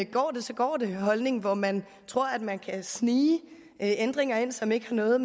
går det så går det holdning hvor man tror at man kan snige ændringer ind som ikke har noget